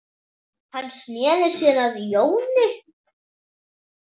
Hann sneri sér að Jóni.